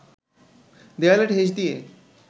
দেয়ালে ঠেস দিয়ে